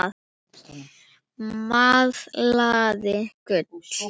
Malaði gull.